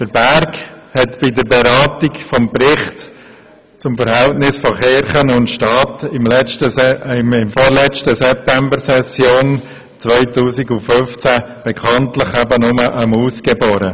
Der Berg hat bei der Beratung des Berichts zum Verhältnis von Kirche und Staat im September 2015 nur eine Maus geboren.